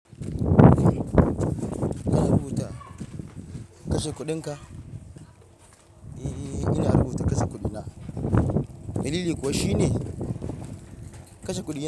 Ina rubuta kashe kuɗinka. E, ina rubuta kashe kuɗina. Dalili kuwa shi ne kashe kuɗi yanzu.